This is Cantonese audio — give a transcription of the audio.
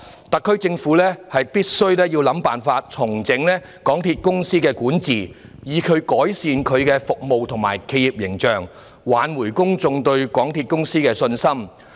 特區政府必須想辦法重整港鐵公司管治，以改善其服務及企業形象，挽回公眾對港鐵公司的信心。